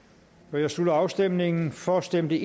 nu jeg slutter afstemningen for stemte